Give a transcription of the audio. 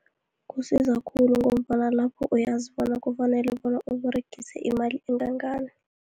Kusiza khulu, ngombana lapho uyazi bona kufanele bona uberegise imali engangani.